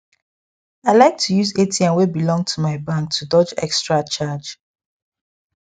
i like to use atm wey belong to my bank to dodge extra charge